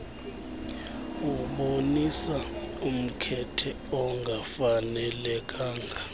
ebonisa umkhethe ongafanelekanga